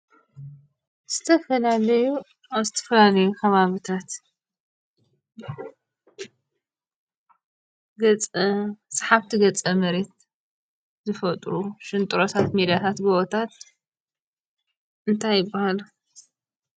ዝተፈላለዩ ኣብ ዝተፈላለዮ ኸባቢታት ገፀ ሰሓብቲ ገፀ መሬት ዝፈጥሩ ሽንጥሮታት ሜዳታት ጎቦታት እንታይ ይባሃሉ?